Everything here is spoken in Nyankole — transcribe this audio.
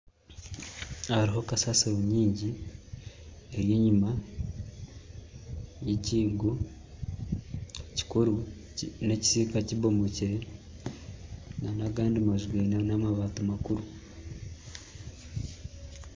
Hariho kasasiro nyingi eri enyuma yekIigo kikuru nekisiika kibomokire nana agandi maju gaine amabaati makuru